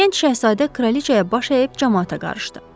Gənc şahzadə kraliçaya baş əyib camaata qarşıdı.